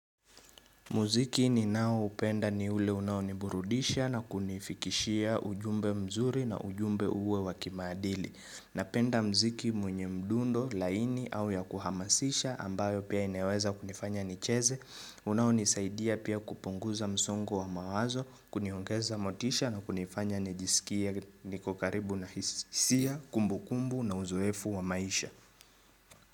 Muziki ninao upenda ni ule unaoniburudisha na kunifikishia ujumbe mzuri na ujumbe uwe wakimaadili. Napenda mziki mwenye mdundo, laini au ya kuhamasisha ambayo pia inayoweza kunifanya nicheze. Unaonisaidia pia kupunguza msongo wa mawazo, kuniongeza motisha na kunifanya nijisikie nikokaribu na hisia, kumbu kumbu na uzoefu wa maisha.